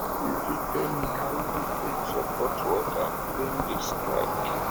you fit tell me how you dey take support worker during di strike